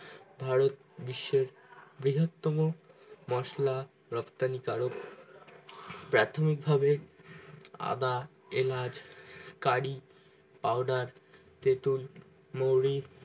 ভারত বিশ্বের বৃহৎতম মশলা রপ্তানি কারক প্যাথম্মিক ভাবে অদা এলাচ কারী পাউডার তেতুল মৌরি